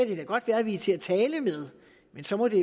det da godt være at vi er til at tale med men så må det